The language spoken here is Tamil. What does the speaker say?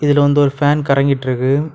இதுல வந்து ஒரு பேன் கரங்கிட்ருக்கு.